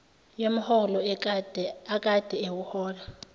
yomholo akade ewuhola